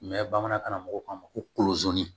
bamanankan karamɔgɔw k'a ma ko kolozi